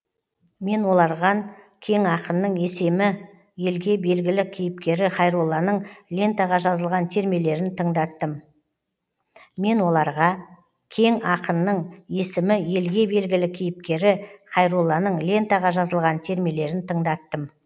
мен оларған кең ақынның есемі елге белгілі кейіпкері хайролланың лентаға жазылған термелерін тыңдаттым